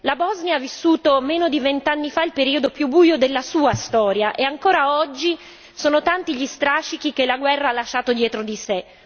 La Bosnia ha vissuto meno di vent'anni fa il periodo più buio della sua storia e ancora oggi sono tanti gli strascichi che la guerra ha lasciato dietro di sé.